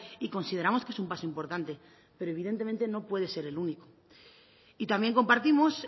y consideramos que es un paso importante pero evidentemente no puede ser el único y también compartimos